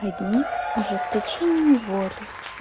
одни ожесточением воли